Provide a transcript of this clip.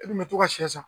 E kun bɛ to ka sɛn san